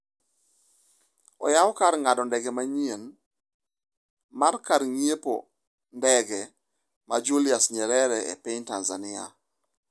E Tipo: Oyaw kar ng'ado ndege manyien mar kar ng'iepo ndege ma Julius Nyerere e piny Tanzania